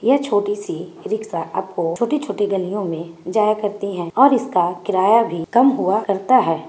ये छोटे सी रिक्शा आपको छोटे- छोटे गलिओ मे जया करती हैं और इसका किराया भी कम हुआ करता है ।